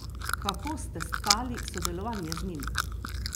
Kako ste stkali sodelovanje z njim?